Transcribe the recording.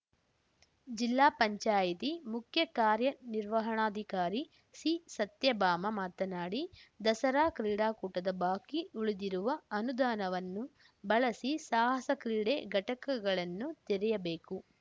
ಜಿಲ್ಲಾ ಪಂಚಾಯಿತಿ ಮುಖ್ಯ ಕಾರ್ಯನಿರ್ವಾಹಣಾಧಿಕಾರಿ ಸಿಸತ್ಯಭಾಮ ಮಾತನಾಡಿ ದಸರಾ ಕ್ರೀಡಾಕೂಟದ ಬಾಕಿ ಉಳಿದಿರುವ ಅನುದಾನವನ್ನು ಬಳಸಿ ಸಾಹಸ ಕ್ರೀಡೆ ಘಟಕಗಳನ್ನು ತೆರೆಯಬೇಕು